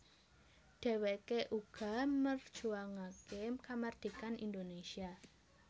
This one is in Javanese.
Dheweke uga merjuangake kamardhikan Indonésia